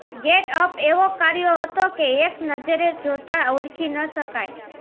get up એવો કર્યો હતો કે એક નજરે જોતાં ઓળખી ન શકાય